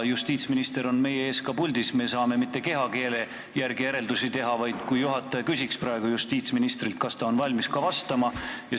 Justiitsminister on meie ees ka puldis, me saame mitte ainult kehakeele järgi järeldusi teha, vaid juhataja võiks küsida praegu justiitsministrilt, kas ta on valmis vastama.